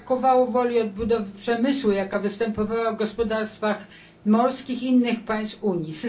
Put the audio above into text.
Brakowało woli odbudowy przemysłu, jaka występowała w gospodarkach morskich innych państw Unii.